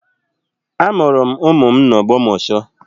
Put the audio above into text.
Amụrụ m ụmụ m n'Ogbomosho